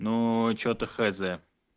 но что-то хз